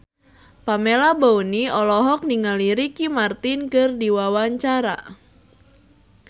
Pamela Bowie olohok ningali Ricky Martin keur diwawancara